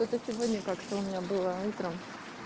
это сегодня как-то у меня было утром